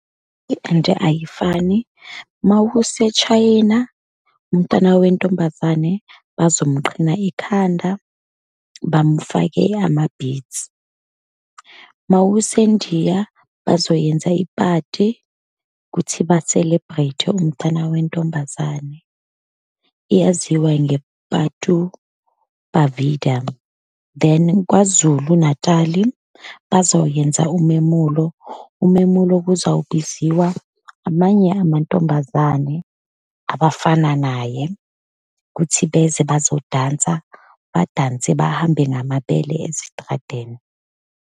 ayifani uma useShayina umntwana wentombazane, bazomuqhina ikhanda, bamufake ama-beads. Uma useNdiya bazoyenza iphathi ukuthi ba-celebrate umtana wentombazane, iyaziwa nge-Pattu Pavadai. Then, KwaZulu Natali bazoyenza umemulo, umemulo kuzawubiziwa amanye amantombazane abafana naye, ukuthi beze bazodansa, badanse bahambe ngamabele ezitradeni.